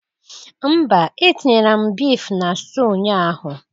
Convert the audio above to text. Mba etinyere m beef na stew ụnyaahụ